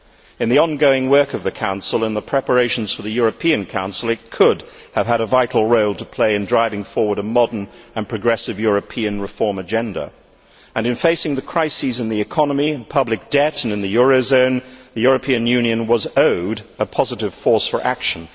In the ongoing work of the Council and the preparations for the European Council, it could have had a vital role to play in driving forward a modern and progressive European reform agenda, and in facing the crises in the economy and public debt and in the eurozone, the European Union was owed a positive force for action.